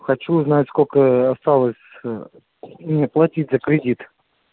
хочу узнать сколько осталось ээ мне платить за кредит